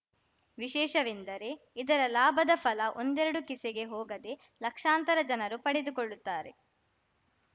ವಿಶೇಷವೆಂದರೆ ಇದರ ಲಾಭದ ಫಲ ಒಂದೆರಡು ಕಿಸೆಗೆ ಹೋಗದೆ ಲಕ್ಷಾಂತರ ಜನರು ಪಡೆದುಕೊಳ್ಳುತ್ತಾರೆ